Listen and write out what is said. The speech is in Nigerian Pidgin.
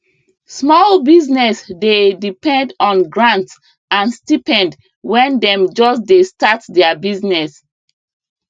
small business dey depend on grant and stipend when dem just dey start their business